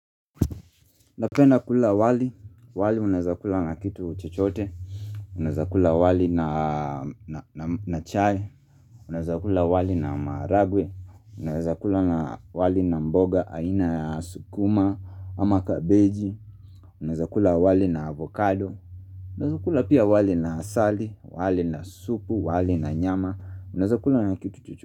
Napenda kula wali, wali unaezakula na kitu chuchote, unaeza kula wali na na chai, unaeza kula wali na maragwe, unaezakula wali na mboga, aina ya sukuma, ama kabeji, unaezakula wali na avocado, unaezakula pia wali na sali, wali na supu, wali na nyama, unaezakula na kitu chochote.